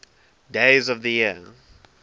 days of the year